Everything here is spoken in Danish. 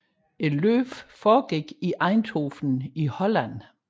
Løbet foregik i Eindhoven i Holland